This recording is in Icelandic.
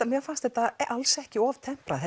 mér fannst þetta alls ekki of temprað